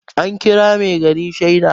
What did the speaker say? an kira mai gari shaida